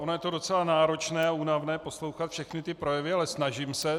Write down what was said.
Ono je to docela náročné a únavné poslouchat všechny ty projevy, ale snažím se.